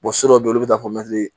so dɔw bɛ yen olu bɛ taa fɔ